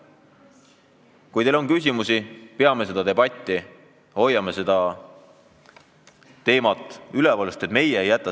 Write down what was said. Kui teil on küsimusi, siis peame seda debatti, hoiame teemat üleval!